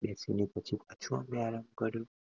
બેસી ને પાછો અમે આરામ કર્યો